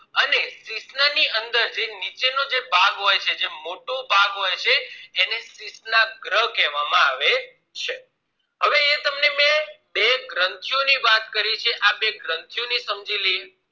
અને શિશ્ન ની અંદર જે નીચે નો જે ભાગ છે જે મોટો ભાગ હોય છે એને શીશ્નાગ્રહ કહેવામાં આવે છે હવે એ જે તમને બે ગ્રંથી ઓ ની વાત કરવી છે આ બે ગ્રંથી ઓ ને સમજી લઇએ